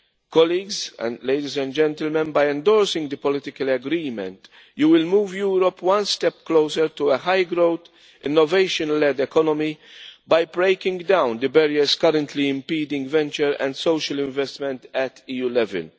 Colleagues, ladies and gentlemen, by endorsing the political agreement you will move Europe one step closer to a high growth, innovation led economy by breaking down the barriers currently impeding venture and social investment at EU level.